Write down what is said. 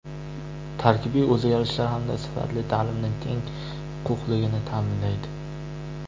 Tarkibiy o‘zgarishlar hamda sifatli ta’limning teng huquqliligini ta’minlaydi.